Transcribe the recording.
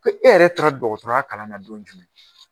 Ko e yɛrɛ taara dɔgɔtɔrɔya kalan na don jumɛn.